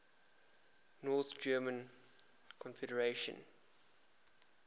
north german confederation